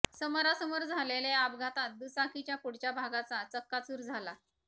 समोरासमोर झालेल्या या अपघातात दुचाकीच्या पुढच्या भागाचा चक्काचूर झाला